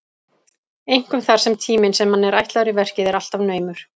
Einkum þar sem tíminn sem manni er ætlaður í verkið er alltaf naumur.